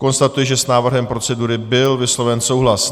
Konstatuji, že s návrhem procedury byl vysloven souhlas.